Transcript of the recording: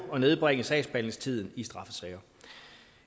at nedbringe sagsbehandlingstiden i straffesager